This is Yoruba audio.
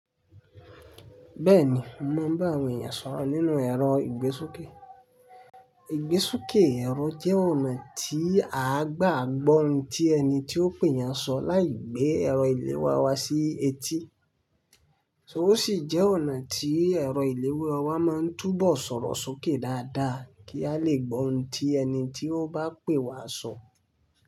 Bẹ́ẹ̀ni, mo mọ̀ bá awon èèyàn sọ̀rọ̀ nínú ẹ̀rọ ìgbésókè. Ìgbésókè ẹ̀rọ jẹ́ ọ̀nà tí a gbàgbọ́ ohun tí ẹni tí ó pè yàn sọ láì gbé ẹ̀rọ ìléwọ́ wa sí etí. O sì jẹ́ ọ̀nà tí ẹ̀rọ ìléwọ́ wa ma ń túbọ̀ sọ̀rọ̀ sókè dáadáa kí a lè gbọ́ ohun tí ẹni tí ó bá pè wa sọ.